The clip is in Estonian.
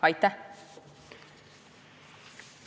Aitäh!